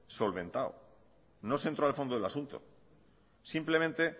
solventado no se entró al fondo del asunto simplemente